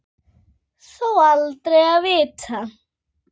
Þó aldrei að vita.